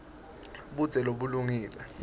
budze bulungile